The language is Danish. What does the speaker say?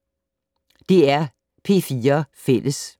DR P4 Fælles